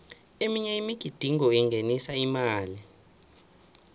eminye imigidingo ingenisa imali